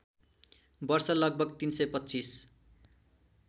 वर्ष लगभग ३२५